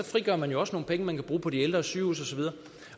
frigør man jo også nogle penge man kan bruge på de ældre og sygehuse